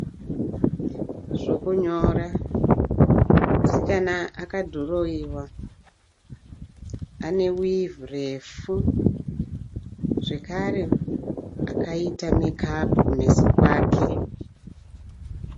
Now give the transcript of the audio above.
Zvokunyora, musikana akadhirowewa ane wivhi refu zvakare akaita mekapu kumeso kwake.